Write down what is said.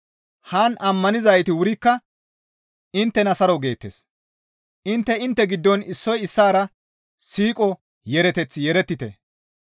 Haan ammanizayti wurikka inttena saro geettes; intte intte giddon issoy issaara siiqo yeereteth yeerettite.